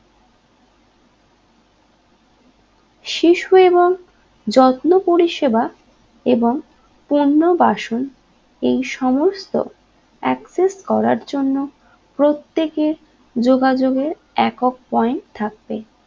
শীর্ষ এবং যত্ন পরিষেবা এবং পূর্ণবাসন এই সমস্ত adjust করার জন্য প্রত্যেকে যোগাগের একক point থাকবে